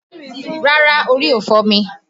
Rárá, orí ò fọ́ mi